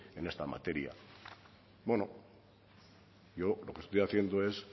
en esta materia bueno yo lo que estoy haciendo es